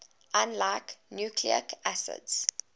unlike nucleic acids